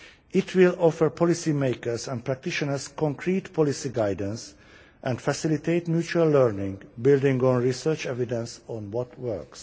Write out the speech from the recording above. It will offer policymakers and practitioners concrete policy guidance and facilitate mutual learning, building on research evidence of what works.